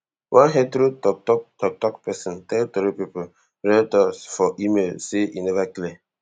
one heathrow toktok toktok pesin tell teri pipo retors for email say e never clear